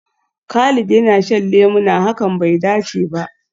Khalid yana shan lemuna, hakan bai dace ba.